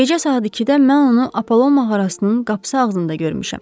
Gecə saat 2-də mən onu Apollon mağarasının qapısı ağzında görmüşəm.